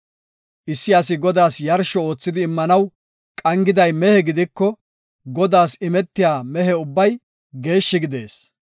Issi asi Godaas yarsho oothidi immanaw qangiday mehe gidiko Godaas imetiya mehe ubbay geeshshi gidees.